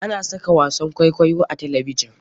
Ana saka wasan kwaikwayo a talabjin.